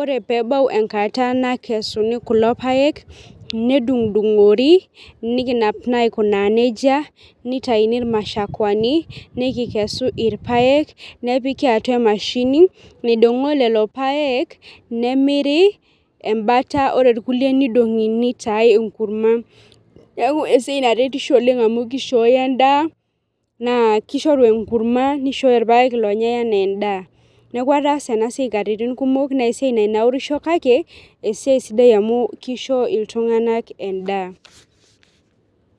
ore peebau enkata nakesuni kulo paek nedungdungori nikinap na aikunaa nejia nitauni irmashakuani nikikesu irpaek nepiki atua emashini nemiri embata ore irkulie Nidongi nitae enkurma neaku esiai naretisho oleng amu kishooyo endaa kishooyo enkurma nishooyo irpaek onyae ana endaa ,neasi nesiai naitanaurisho kake esidai amu kisho ltunganak endaa.